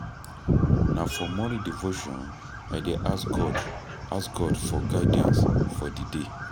Na for morning devotion I dey ask God ask God for guidance for di day.